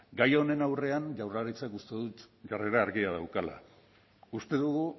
gai honen aurrean jaurlaritzak uste dut jarrera argia daukala uste dugu